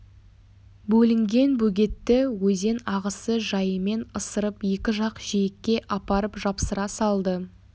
бөлінген бөгетті өзен ағысы жайымен ысырып екі жақ жиекке апарып жапсыра салды